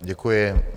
Děkuji.